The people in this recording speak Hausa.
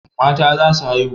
Mata za su haihu.